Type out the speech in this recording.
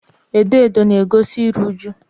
edo edo na-egosi iru uju.